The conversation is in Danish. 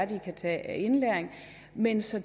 kan tage af indlæring men så